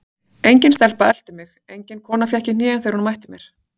Engin stelpa elti mig, engin kona fékk í hnén þegar hún mætti mér.